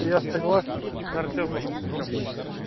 я согласен с артёмом ну как обычно